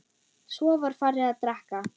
Svo var farið að drekka.